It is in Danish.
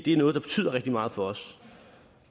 er noget der betyder rigtig meget for os